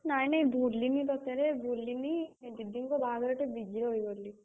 ନାଇଁ ନାଇଁ ଭୁଲିନି ତତେରେ ଭୁଲିନି, दीदी ଙ୍କ ବାହାଘରେ ଟିକେ busy ରହିଗଲି।